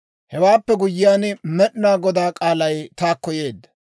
Hewaappe guyyiyaan, Med'inaa Godaa k'aalay taakko yeedda;